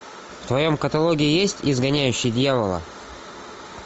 в твоем каталоге есть изгоняющий дьявола